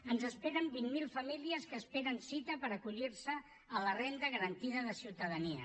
ens esperen vint mil famílies que esperen cita per acollir se a la renda garantida de ciutadania